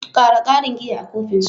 Ƙara ƙarin giya a kofin su.